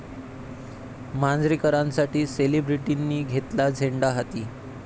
मांजरेकरांसाठी सेलिब्रिटींनी घेतला झेंडा हाती!